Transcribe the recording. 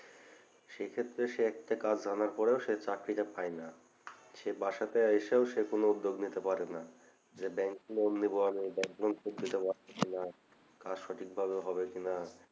সেক্ষেত্রে সে একটা কাজ জানার পরেও সে চাকরিটা পায় না সে বাসাতে এসেও কোনও উদ্যোগ নিতে পারে না যে bank loan নেবো আমি bank loan শোধ দিতে পারবো কিনা কাজ সঠিক ভাবে হবে কিনা